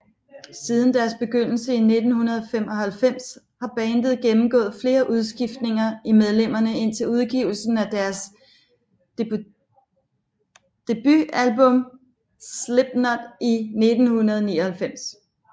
Siden deres begyndelse i 1995 har bandet gennemgået flere udskiftninger i medlemmerne indtil udgivelsen af deres debutalbum Slipknot i 1999